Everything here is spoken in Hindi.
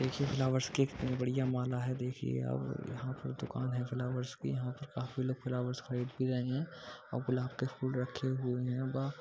देखिये फ्लोवर्स की एक बढ़िया माला हैं देखिये यहाँ पर दुकान है फ्लोवर्स की यहाँ पर काफी लोग फ्लोवर्स खरीद भी रहे हैं और गुलाब के फूल रखे हुए हैं बा --